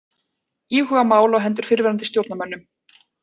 Íhuga mál á hendur fyrrverandi stjórnarmönnum